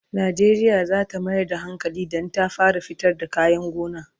Najeriya zata Mayar da hankali Dan ta fara fitar da kayan gona